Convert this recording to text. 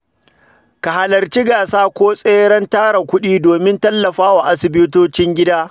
Ka halarci gasa ko tseren tara kuɗi domin tallafawa asibitocin gida.